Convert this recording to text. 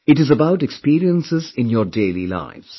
It is about experiences in your daily lives